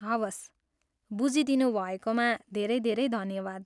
हवस्, बुझिदिनुभएकोमा धेरै धेरै धन्यवाद।